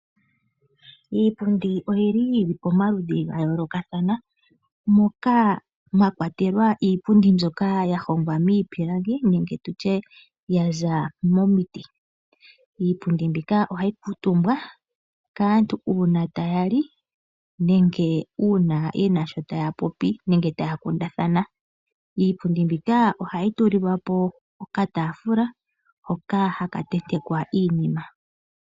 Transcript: Iipundi oyili pomaludhi gayoolokathana moka mwakwatelwa iipundi mbyoka yahongwa miipilangi nenge tutye yaza momiti. Iipundi mbika ohayi kuutumbwa kaantu uuna taya li nenge uuna yena sho taya popi nenge taya kundathana. Iipundi mbika ohayi tulilwapo okataafula hoka haka tentekwa iinima.